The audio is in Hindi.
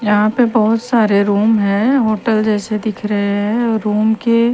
यहां पे बहोत सारे रूम हैं होटल जैसे दिख रहे हैं रूम के--